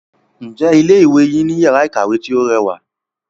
Ǹjẹ́ ilé ìwé yín ní iyàrá ìkàwé tí o rẹwà?